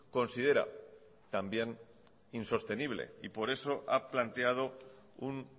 considera también insostenible y por eso ha planteado un